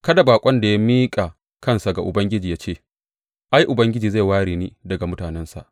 Kada baƙon da ya miƙa kansa ga Ubangiji ya ce, Ai Ubangiji zai ware ni daga mutanensa.